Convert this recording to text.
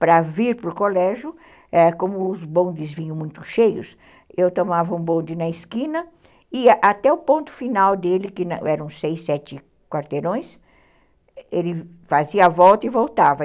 Para vir para o colégio, como os bondes vinham muito cheios, eu tomava um bonde na esquina e até o ponto final dele, que eram seis, sete quarteirões, ele fazia a volta e voltava.